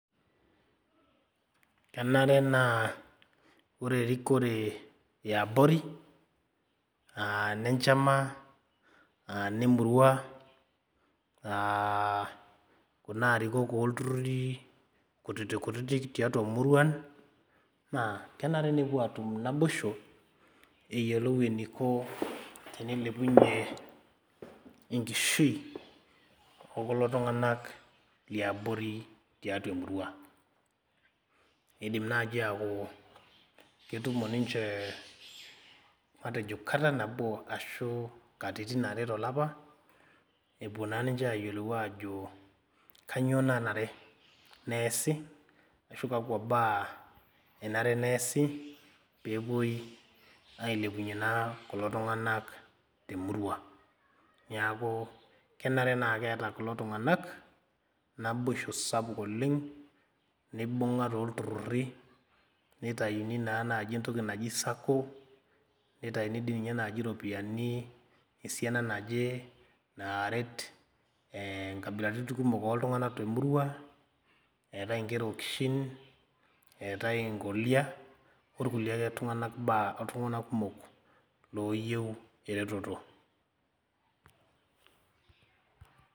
Kenare naa ore erikore eabori aa enenchama anemurua uh kuna arikok olturruri kutiti kutitik tiatua muruan naa kenare nepuo atum naboisho eyiolou eniko tenilepunyie enkishui okulo tung'anak liabori tiatua emurua eidim naaji aaku ketumo ninche matejo kata nabo ashu katitin are tolapa epuo naa ninche ayiolou aajo kanyio nanare neesi ashu kakwa baa enare neesi peepuoi ailepunyie naa kulo tung'anak temurua niaku kenare naa keeta kulo tung'anak naboisho sapuk oleng nibung'a tolturruri neitaini naa naaji entoki naji sacco neitaini dei ninye naaji iropiyiani esiana naje naaret eh nkabilaritin kumok oltung'anak temurua eetae inkera okishin eetae inkolia orkulie ake tung'anak baa oltung'anak kumok loyieu ereteto.